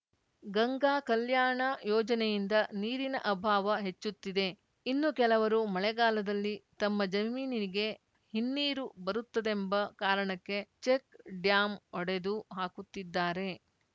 ಗಂಗಾ ಕಲ್ಯಾಣ ಯೋಜನೆಯಿಂದ ನೀರಿನ ಅಭಾವ ಹೆಚ್ಚುತ್ತಿದೆ ಇನ್ನು ಕೆಲವರು ಮಳೆಗಾಲದಲ್ಲಿ ತಮ್ಮ ಜಮೀನಿಗೆ ಹಿನ್ನೀರು ಬರುತ್ತದೆಂಬ ಕಾರಣಕ್ಕೆ ಚೆಕ್‌ ಡ್ಯಾಂ ಒಡೆದು ಹಾಕುತ್ತಿದ್ದಾರೆ